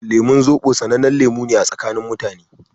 Lemun Zobo sanannen lemu ne a tsakanin mutane.